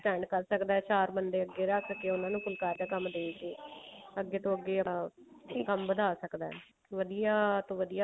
spend ਕਰ ਸਕਦਾ ਬੰਦੇ ਅੱਗੇ ਰੱਖ ਕੇ ਉਹਨਾ ਨੂੰ ਫੁਲਕਾਰੀ ਦਾ ਕੰਮ ਦੇਕੇ ਅੱਗੇ ਤੋਂ ਅੱਗੇ ਆ ਵਧਾ ਸਕਦਾ ਵਧੀਆ ਤੋਂ ਵਧੀਆ